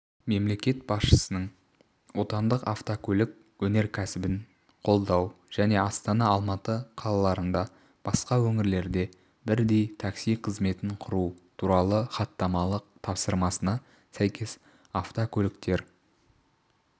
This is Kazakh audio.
мемлекет басшысының отандық автокөлік өнеркәсібін қолдау және астана алматы қалаларында басқа өңірлерде бірдей такси қызметін құру туралы хаттамалық тапсырмасына сәйкес автокөліктер